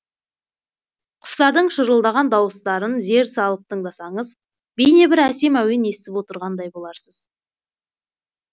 құстардың шырылдаған дауыстарын зер залып тыңдасаңыз бейне бір әсем әуен естіп отырғандай боларсыз